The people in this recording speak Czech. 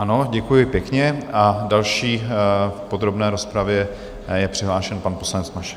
Ano, děkuji pěkně, a další v podrobné rozpravě je přihlášen pan poslanec Mašek.